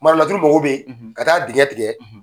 Marolaturu mago bɛ ka taa digɛ tigɛ.